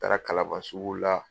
Taara kalaban sugu la.